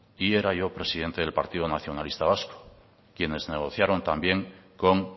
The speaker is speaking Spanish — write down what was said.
y era yo presidente del partido nacionalista vasco quienes negociaron también con